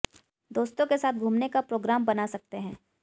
दोस्तों के साथ घूमने का प्रोग्राम बना सकते हैं